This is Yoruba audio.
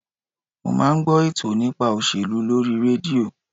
Mo máa ń gbọ́ ètò nípa òṣèlú lórí rédíò